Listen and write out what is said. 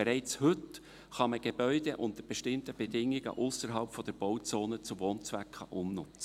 Bereits heute kann man Gebäude unter bestimmten Bedingungen ausserhalb der Bauzone zu Wohnzwecken umnutzen.